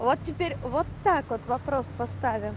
вот теперь вот так вот вопрос поставим